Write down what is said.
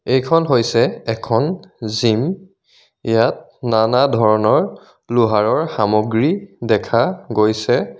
এইখন হৈছে এখন জিম ইয়াত নানা ধৰণৰ লোহাৰৰ সামগ্ৰী দেখা গৈছে.